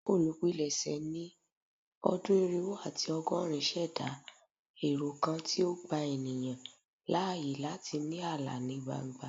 Olupilẹṣẹ ni ọdun irinwo ati ọgọrin ṣẹda ẹrọ kan ti o gba eniyan laaye lati ni ala ni gbangba